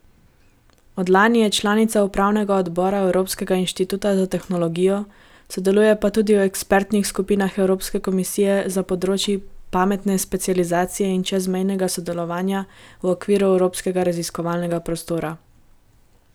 Od lani je članica upravnega odbora Evropskega inštituta za tehnologijo, sodeluje pa tudi v ekspertnih skupinah evropske komisije za področji pametne specializacije in čezmejnega sodelovanja v okviru evropskega raziskovalnega prostora.